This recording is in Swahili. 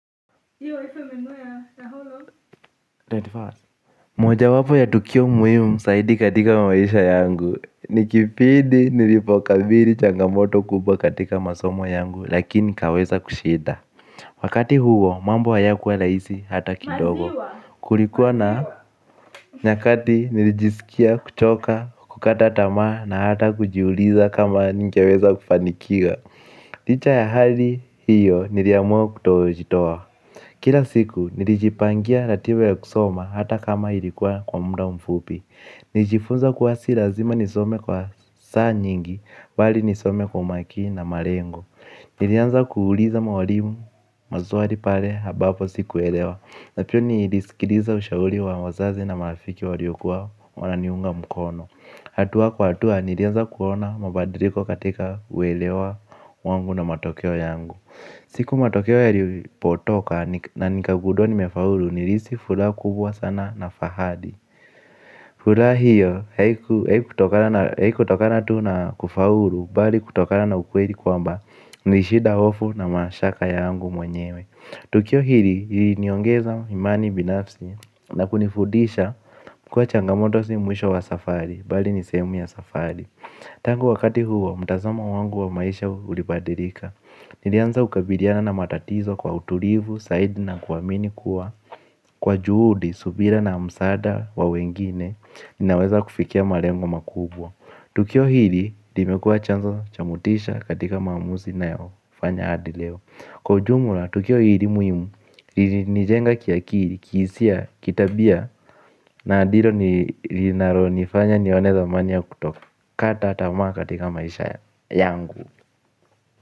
21St. Moja wapo ya tukio muhimu saidi katika maisha yangu. Nikipindi nilipokabiri changamoto kubwa katika masomo yangu lakini nikaweza kushinda. Wakati huo mambo hayakuwa rahisi hata kidogo. Kulikuwa na nyakati nilijisikia kuchoka kukata tamaa na hata kujiuliza kama ningeweza kufanikiwa. Licha ya hali hiyo niliamuwe kutojitowa. Kila siku, nilijipangia ratiba ya kusoma hata kama ilikuwa kwa muda mfupi. Nijifunza kuwa si lazima nisome kwa saa nyingi, bali nisome kwa umakini na malengo. Nilianza kuuliza mwalimu, maswali pale, habapo sikuelewa. Na pia nilisikiliza ushauri wa wazazi na marafiki waliokuwa wananiunga mkono. Hatuwa kwa hatuwa, nilianza kuona mabadiriko katika uwelewa wangu na matokeo yangu. Siku matokeo yalipotoka na nikagundua nimefaulu nilihisi furaha kubwa sana na fahali. Furaha hiyo haikutokana tu na kufaulu bali kutokana na ukweli kwamba nilishinda ofu na mashaka yangu mwenyewe. Tukio hili iliniongeza imani binafsi na kunifudisha kuwa changamoto si mwisho wa safari bali ni sehemu ya safari tangu wakati huo mtazamo wangu wa maisha ulibadirika. Nilianza kukabiliana na matatizo kwa utulivu, saidi na kuamini kuwa kwa juhudi, subira na msaada wa wengine naweza kufikia malengo makubwa. Tukio hili, ndio imekuwa chanzo cha motisha katika maamuzi ninayofanya hadi leo. Kwa ujumula, tukio hili muhimu, ilinijenga kiakili, kihisia, kitabia. Na ndilo linalonifanya nione dhamani ya kuto kata tamaa katika maisha yangu.